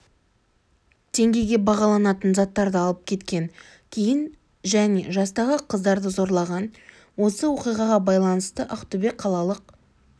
теңгеге бағаланатын заттарды алып кеткен кейін және жастағы қыздарды зорлаған осы оқиғаға байланысты ақтөбе қалалық